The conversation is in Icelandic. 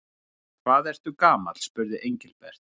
Hvað ertu gamall? spurði Engilbert.